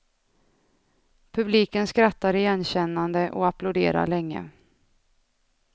Publiken skrattar igenkännande och applåderar länge.